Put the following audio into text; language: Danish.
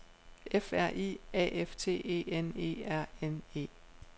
F R I A F T E N E R N E